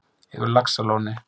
Yfir laxalóni